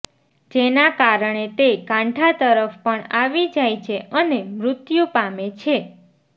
જેના કારણે તે કાંઠા તરફ પણ આવી જાય છે અને મૃત્યુ પામે છે